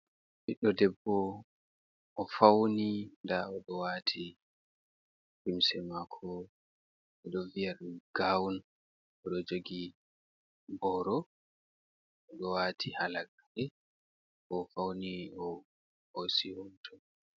Ɓiɗɗo debbo o fauni ndao do owati limse mako ɗo vi'a dum gown oɗo jogi boro do wati halagare bo ofauni ohosi hoto.